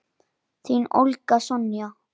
Þín, Olga Sonja.